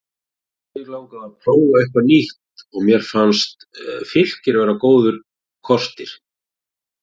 Mig langaði að prófa eitthvað nýtt og mér fannst Fylkir vera góður kostir.